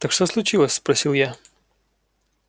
так что случилось спросил я